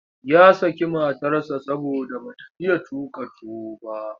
Ya saki matarsa saboda ba ta iya tuƙa tuwo ba.